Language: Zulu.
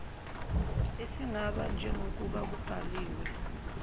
esingaba njengokuba kubalulwe